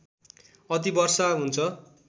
अति वर्षा हुन्छ